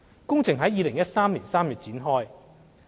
工程於2013年3月展開。